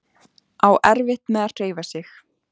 Á erfitt með að hreyfa sig.